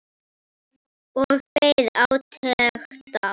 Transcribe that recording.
Og beið átekta.